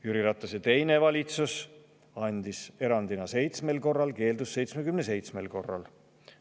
Jüri Ratase teine valitsus andis selle erandina 7 korral, keeldus 77 korral.